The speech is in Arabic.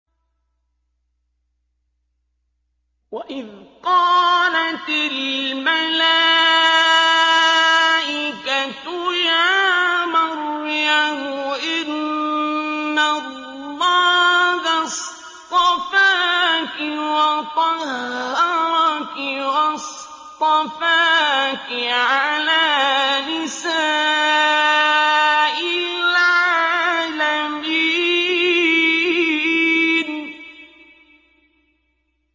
وَإِذْ قَالَتِ الْمَلَائِكَةُ يَا مَرْيَمُ إِنَّ اللَّهَ اصْطَفَاكِ وَطَهَّرَكِ وَاصْطَفَاكِ عَلَىٰ نِسَاءِ الْعَالَمِينَ